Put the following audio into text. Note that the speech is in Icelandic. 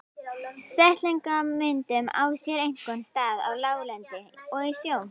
Setlagamyndun á sér einkum stað á láglendi og í sjó.